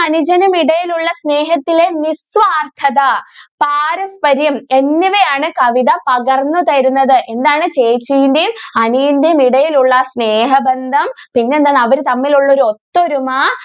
അനുജനും ഇടയിൽ ഉള്ള സ്നേഹത്തിന്റെ നിസ്വാർഥത എങ്ങനെ ആണ് കവിത പകർന്നു തരുന്നത് എന്താണ് ചേച്ചിന്റെയും അനിയന്റെയും ഇടയിൽ ഉള്ള ആ സ്നേഹ ബന്ധം പിന്നെ എന്താണ് അവർ തമ്മിൽ ഉള്ള ഒരു ഒത്തൊരുമ.